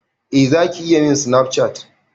Eh Zaki iya min Snapchat.